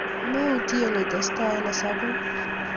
meutye itesta eng hesabuk